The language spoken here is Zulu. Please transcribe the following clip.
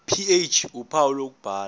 ph uphawu lokubhala